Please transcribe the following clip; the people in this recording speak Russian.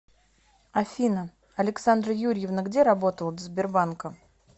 афина александра юрьевна где работала до сбербанка